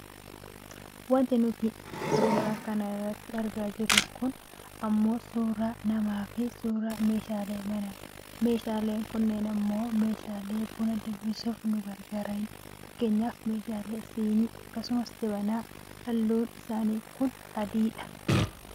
Wanti nuti suuraa kana irratti argaa jirru kun ammoo suuraa namaafi suuraa meeshaalee manaati. Meeshaaleen kunneen ammoo meeshaalee buna danfisuuf nu gargaaranidha. Fakkeenyaaf meeshaa sinii, akkasumas jabanaati. Halluun sinii kun ammoo adiidha.